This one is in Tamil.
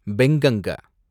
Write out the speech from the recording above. பெங்கங்க